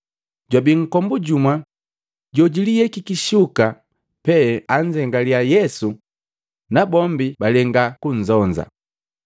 Jwabi nkombu jumu jojuliyekiki shuka pee annzengaliya Yesu na bombi balenga konzonza.